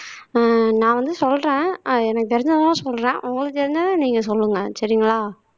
ஆஹ் நான் வந்து சொல்றேன் எனக்கு தெரிஞ்சதுதான் சொல்றேன் உங்களுக்கு தெரிஞ்சத நீங்க சொல்லுங்க சரிங்களா